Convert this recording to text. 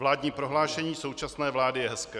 Vládní prohlášení současné vlády je hezké.